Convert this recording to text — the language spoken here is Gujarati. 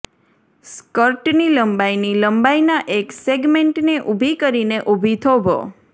સ્કર્ટની લંબાઈની લંબાઇના એક સેગમેન્ટને ઊભી કરીને ઊભી થોભો